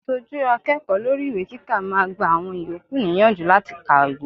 Aṣojú akẹ́kọ̀ọ́ lórí ìwé kíkà máa gba àwọn ìyókù níyànjú láti kàwé.